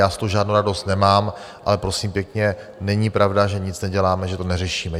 Já z toho žádnou radost nemám, ale prosím pěkně, není pravda, že nic neděláme, že to neřešíme.